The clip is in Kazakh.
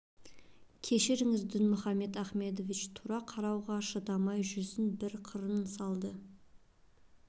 кешіріңіз дінмұхамед ахмедович тура қарауға шыдамай жүзін бір қырын салды